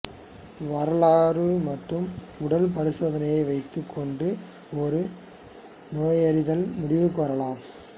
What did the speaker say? வரலாறு மற்றும் உடல் பரிசோதனையை வைத்துக் கொண்டு ஒரு நோயறிதல் முடிவுக்கு வரலாம்